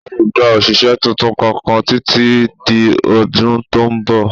A ò gba òṣìṣẹ́ tuntun kankan títí di ọdún tó ń bọ̀